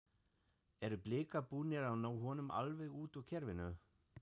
Eru Blikar búnir að ná honum alveg út úr kerfinu?